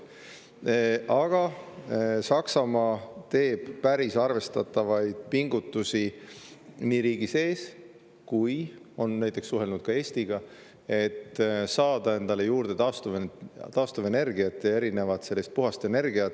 Aga Saksamaa teeb päris arvestatavaid pingutusi nii riigi sees kui on näiteks suhelnud ka Eestiga, et saada endale juurde taastuvenergiat ja erinevat puhast energiat.